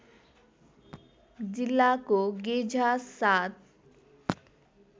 जिल्लाको गेझा ७